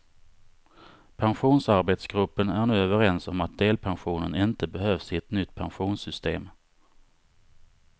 Pensionsarbetsgruppen är nu överens om att delpensionen inte behövs i ett nytt pensionssystem.